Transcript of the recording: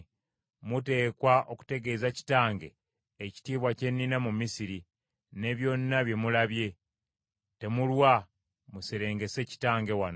Muteekwa okutegeeza kitange ekitiibwa kye nnina mu Misiri, ne byonna bye mulabye. Temulwa, muserengese kitange wano.”